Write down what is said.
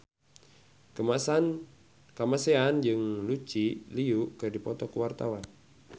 Kamasean jeung Lucy Liu keur dipoto ku wartawan